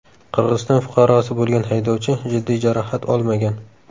Qirg‘iziston fuqarosi bo‘lgan haydovchi jiddiy jarohat olmagan.